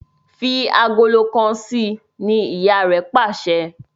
Fí Àgòló kán sí! ní ìyá rẹ pàṣẹ.